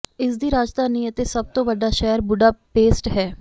ਇਸਦੀ ਰਾਜਧਾਨੀ ਅਤੇ ਸਭ ਤੋਂ ਵੱਡਾ ਸ਼ਹਿਰ ਬੁਡਾਪੇਸਟ ਹੈ